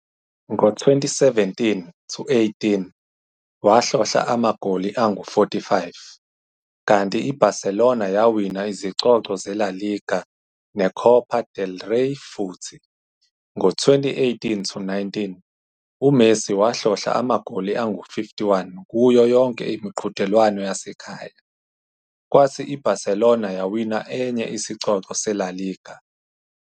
Ngo-2017-18, wahlohla amagoli angu-45, kanti i-Barcelona yawina izicoco zeLa Liga neCopa del Rey futhi. Ngo-2018-19, uMessi wahlohla amagoli angu-51 kuyo yonke imiqhudelwano yasekhaya, kwathi i-Barcelona yawina enye isicoco seLa Liga.